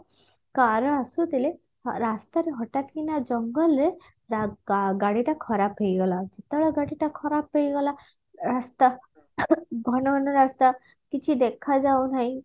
car ର ଆସୁଥିଲେ ରାସ୍ତାରେ ହଠାତକିନା ଜଙ୍ଗଲ ରେ ରା ଗା ଗାଡିଟା ଖରାପ ହେଇଗଲା ଯେତେବେଳେ ଗାଡିଟା ଖରାପ ହେଇଗଲା ରାସ୍ତା ଘନ ଘନ ରାସ୍ତା କିଛି ଦେଖାଯାଉନାହିଁ